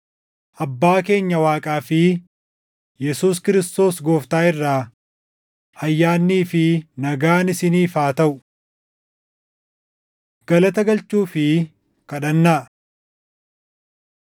Abbaa keenya Waaqaa fi Yesuus Kiristoos Gooftaa irraa ayyaannii fi nagaan isiniif haa taʼu. Galata Galchuu fi Kadhannaa